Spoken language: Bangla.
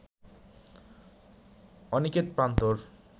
অনিকেত প্রান্তর